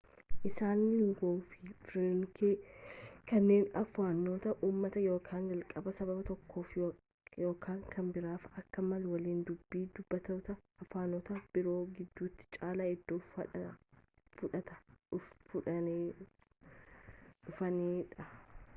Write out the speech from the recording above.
isaan linguwaa firaankaa kanneen afaanota uumamaa ykn jalqabaa sababa tokkoof ykn kan biraaf akka mala waliin-dubbii dubbattoota afaanota biroo gidduutti caalaa iddoo fudhataa dhufaniidha